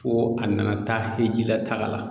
Fo a nana taa e ji la taga